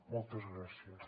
moltes gràcies